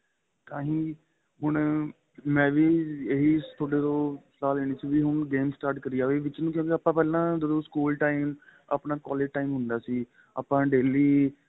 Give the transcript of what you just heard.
ਤਾਹੀ ਹੁਣ ਮੈਂਵੀ ਏਹ ਤੁਹਾਡੇ ਤੋ ਸਲਾਹ ਲੈਣੀ ਸੀ ਵੀ ਹੁਣ game start ਕਰੀ ਏ ਵਿੱਚ ਨੂੰ ਕਹਿੰਦੇ ਆਪਾ ਪਹਿਲਾਂ ਜਦੋ ਸਕੂਲ time ਆਪਣਾ collage time ਹੁੰਦਾ ਸੀ ਆਪਾ daily